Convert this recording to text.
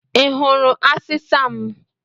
I hụrụ asịsa m?